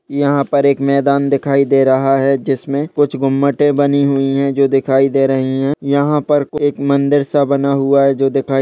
यहाँ पर एक मैदान दिखाई दे रहा है जिसमें कुछ गुम्मटे बनी हुई है जो दिखाई दे रही है यहाँ पर एक मन्दिर सा बना हुआ हैं जो दिखाई --